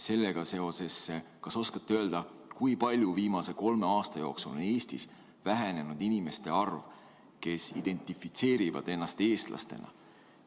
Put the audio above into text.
Sellega seoses, kas oskate öelda, kui palju viimase kolme aasta jooksul on Eestis vähenenud nende inimeste arv, kes identifitseerivad ennast eestlasena?